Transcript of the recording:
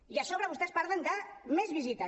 i a sobre vostès parlen de més visites